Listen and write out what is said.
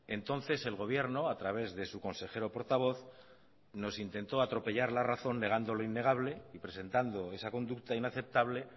entonces el gobierno a través de su consejero portavoz nos intentó atropellar la razón negando lo innegable y presentando esa conducta inaceptable